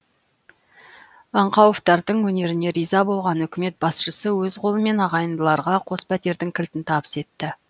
аңқауовтардың өнеріне риза болған үкімет басшысы өз қолымен ағайындыларға қос пәтердің кілтін табыс етті